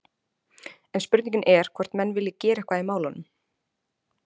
En spurningin er hvort menn vilji gera eitthvað í málunum?